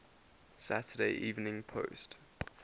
saturday evening post